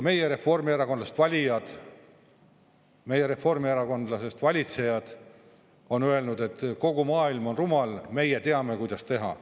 Ja meie reformierakondlasest valitsejad on öelnud, et kogu maailm on rumal, meie teame, kuidas teha.